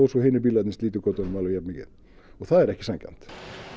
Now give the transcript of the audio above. svo að hinir bílarnir slíti götunum alveg jafnmikið og það er ekki sanngjarnt